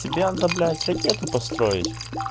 тебе надо блядь ракету построить